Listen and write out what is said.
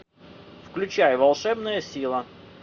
включай волшебная сила